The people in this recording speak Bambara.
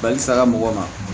Balisa mɔgɔw ma